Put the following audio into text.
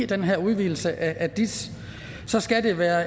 den her udvidelse af dis skal det være